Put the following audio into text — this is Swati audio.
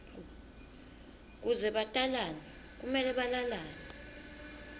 kuze batalane kumele balalane